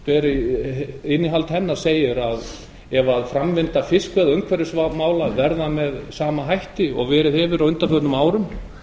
innihald skýrslunnar kveður á um að ef framvinda fiskveiða og umhverfismála verður með sama hætti og verið hefur á undanförnum árum